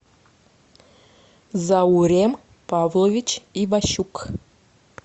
заурем павлович иващук